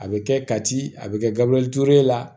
A bɛ kɛ kati a bɛ kɛ gabriel ture la